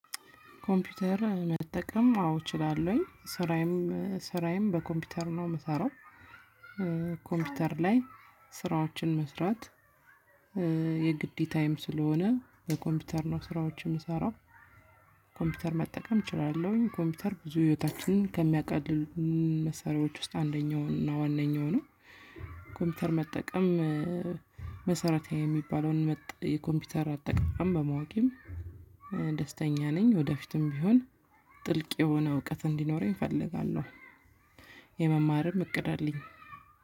ኮምፒውተር መጠቀም አዎ እችላለሁኝ ስራዬም ስራዬም በኮምፒውተር ነው የምሰራው። ኮምፒውተር ላይ ስራዎችን መስራት። የግዴታየም ስለሆነ በኮምፒውተር ነው ስራዎችን የምሰራው። ኮምፒውተር መጠቀም እችላለሁኝ ኮምፒውተር ብዙ ህይወታችንን ከሚያቀልሉልን መሳሪያዎች ውስጥ አንደኛው እና ዋነኛው ነው። ኮምፒውተር መጠቀም መሰረታዊ የሚባለውን መጥ የኮምፒውተር አጠቃቀም በማወቄም ደስተኛ ነኝ። ወደፊትም ቢሆን ጥልቅ የሆነ እውቀት እንዲኖረኝ እፈልጋለሁ። የመማርም እቅድ አለኝ።